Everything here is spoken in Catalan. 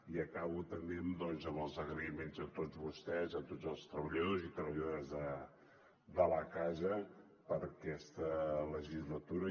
i acabo també amb els agraïments a tots vostès a tots els treballadors i treballadores de la casa en aquesta legislatura